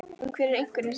En hver eru einkennin?